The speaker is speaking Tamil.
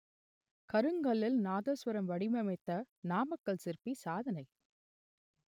கருங்கல்லில் நாதசுரம் வடிவமைத்த நாமக்கல் சிற்பி சாதனை